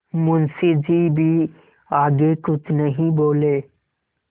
मुंशी जी भी आगे कुछ नहीं बोले